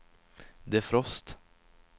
defrost